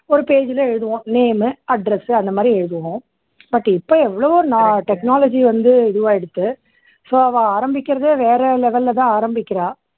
ஒரு page ல எழுதுவோம் name address அந்த மாதிரி எழுதுவோம். but இப்போ எவ்வளவோ technology வந்து இதுவாயிடுத்து so அவா ஆரம்பிக்கறது வந்து வேற level ல தான் ஆரம்பிக்கறா.